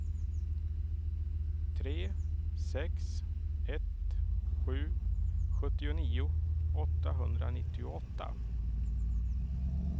tre sex ett sju sjuttionio åttahundranittioåtta